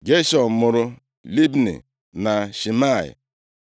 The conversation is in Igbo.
Geshọm mụrụ Libni na Shimei.